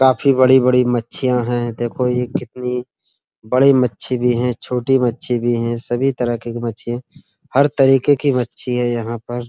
काफी बड़ी-बड़ी मच्छियाँ हैं। देखो ये कितनी बड़ी मच्छी भी हैं छोटी मच्छी भी है। सभी तरह के मच्छी हर तरीके की मच्छी हैं यहाँ पर।